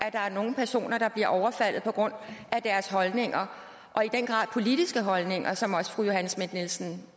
at der er nogle personer der bliver overfaldet på grund af deres holdninger og i den grad politiske holdninger som fru johanne schmidt nielsen